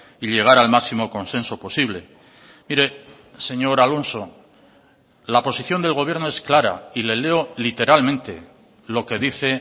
y llegar al máximo consenso posible mire señor alonso la posición del gobierno es clara y le leo literalmente lo que dice